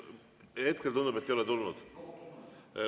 Hetkel tundub, et ei ole tulnud.